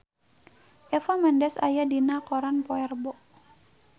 Eva Mendes aya dina koran poe Rebo